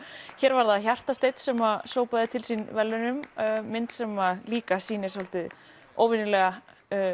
hér var það Hjartasteinn sem sópaði til sín verðlaunum mynd sem líka sýnir svolítið óvenjulega